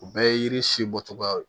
U bɛɛ ye yiri si bɔcogoya ye